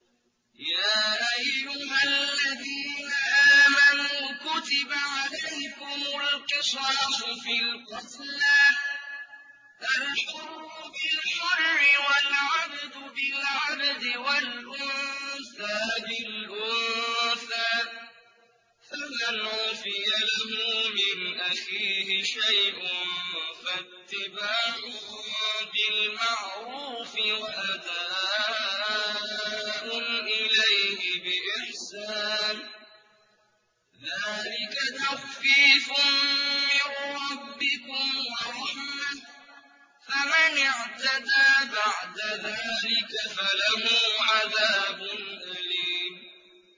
يَا أَيُّهَا الَّذِينَ آمَنُوا كُتِبَ عَلَيْكُمُ الْقِصَاصُ فِي الْقَتْلَى ۖ الْحُرُّ بِالْحُرِّ وَالْعَبْدُ بِالْعَبْدِ وَالْأُنثَىٰ بِالْأُنثَىٰ ۚ فَمَنْ عُفِيَ لَهُ مِنْ أَخِيهِ شَيْءٌ فَاتِّبَاعٌ بِالْمَعْرُوفِ وَأَدَاءٌ إِلَيْهِ بِإِحْسَانٍ ۗ ذَٰلِكَ تَخْفِيفٌ مِّن رَّبِّكُمْ وَرَحْمَةٌ ۗ فَمَنِ اعْتَدَىٰ بَعْدَ ذَٰلِكَ فَلَهُ عَذَابٌ أَلِيمٌ